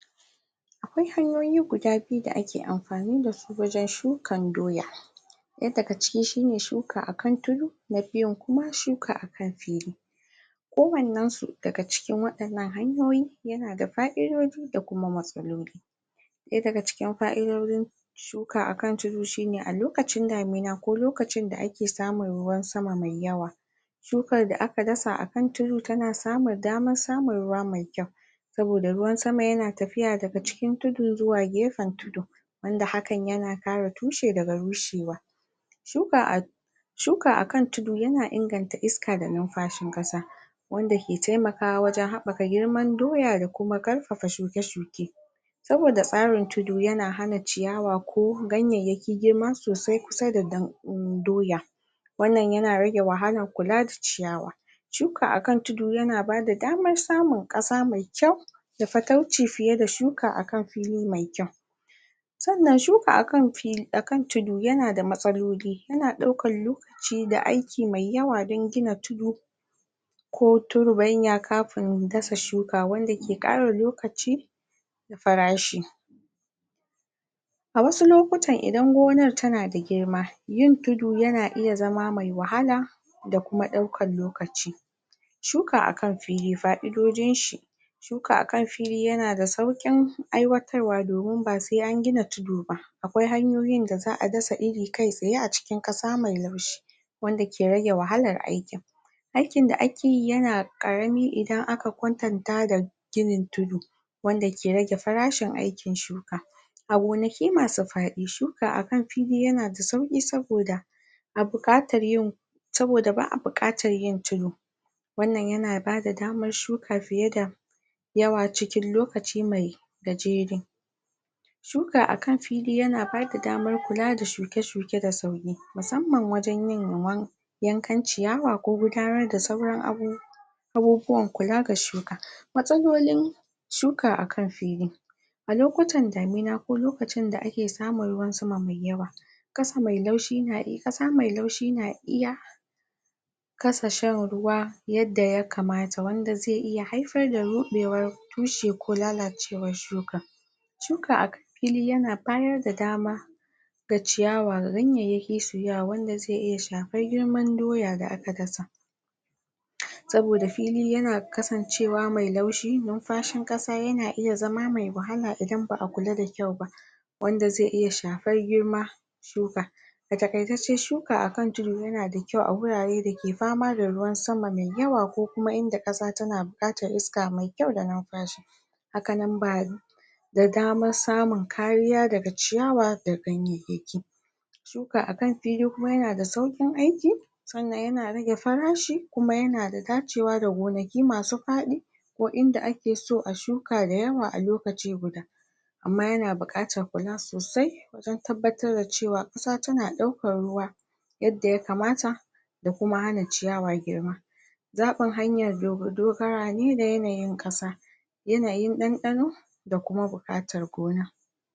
A kwai hanyoyi guda biyu da ake amfani dasu wajen shukan doya ɗaya daga ciki shine shuka akan tudu, na biyun kuma shuka akan fili kowannen su dagga cikin waɗannan hanyoyi yanada fa'idoji da kuma matsaloli ɗaya daga cikin fa'idojin shuka akan tudu shine a lokachin damina ko lokachin da ake samun ruwan sama mai yawa shukar da aka dasa akan tudu tana samun damar samun ruwa mai kyau saboda ruwan sama yana tafiya daga cikin tudu zuwa gefen tudu wanda hakan yana kare tushe daga bushewa shuka a shuka akan tudu yana inganta iska da numfashin ƙasa wanda ke taimakawa wajen haɓɓaka noman doya da ƙarfafa shuke-shuke saboda tsarin tudu yana hana ciyawa ko ganyayaki girma sosai kusa da doya wannan yan rage wahalar kula da ciyawa shuka a kan tudu yana bada damar samun ƙasa mai kyau da fatauci fiye da shuka akan fili mai kyau sannan shuka akan tudu yana da matsaloli yana ɗaukan lokachi da aiki mai yawa don gina tudu ko turbanya kafin shuka wanda ke ƙara lokachi farashi a wasu lokutan idan gonar tanada girma yin tudu yana iya zama mai wahala da kuma ɗaukan lokachi shuka akan fili, fa'idojin shi shuka akan fili yana da sauƙin aiwatarwa domin ba sai an gina tudu ba akwai hanyoyin da za'a dasa iri kkai tsaye a cikin ƙasa mai laushi wanda ke rage wahalar aikin aikin da akeyi idan yana ƙarami idan aka kwatanta da da ginin tudu wanda ke rage farashin aiki shuka a gonaki masu faɗin shuka akan tudu yana da sauƙi saboda a buƙatar yin saboda ba'a buƙatar yin wannan yana bada damar shuka fiye da yawacikin lokachi mai gajere suka akan fili yana bada damar kula da shuke-shuke da sauri, musamman wajen yin yankan ciyawa ko gudanarda sauran abubuwa abubuwan kula da shuka matsalolin shuka akan fili a lokutan damina ko lokachin da ake samun ruwan sama mai yawa ƙasa mai laushi, ƙasa mai laushi na iya kasa shan ruwa yadda ya kamata, wanda zai iya haifar da ruɗewar tushe ko lalacewar shuka shuka akan fili yan bayar da damar da ciyawa wanda yafisu yawa, wanda zai iya shafar girman doya da aka dasa saboda fili yana kasancewa mai laushi, numfashin ƙasa yana iya zama mai wahala idan ba'a kula da kyau ba wanda zai iya shafar girma um a taƙaice dai shuka akan tudu yana da kyau a wuraredake fama da ruwan sama mai yawa ko kuma inda ƙasa tana buƙatar iska mai kyau da numfashi haka nan ba da damar samun kariya daga ciyawa da ganyayyaki shuka akan fili kuma yanada sauƙin aiki sannan yana rage farashi kuma yana da dacewa da gonaki masu faɗi ko inda akeso a shuka da yawa a lokaci guda amma yana buƙatar kula sosai don tabbattar da cewa ƙasa tana ɗaukar ruwa yadda ya kamata da kuma hana ciyawa girma zaɓin hanyar dogara ne da yanayin ƙasa yanayin ɗanɗano da kuma buƙatar gona